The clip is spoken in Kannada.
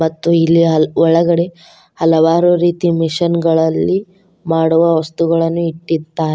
ಮತ್ತು ಇಲ್ಲಿ ಹ ಒಳಗಡೆ ಹಲವಾರು ರೀತಿಯ ಮಿಷನ್ ಗಳಲ್ಲಿ ಮಾಡುವ ವಸ್ತುಗಳನ್ನು ಇಟ್ಟಿದ್ದಾರೆ.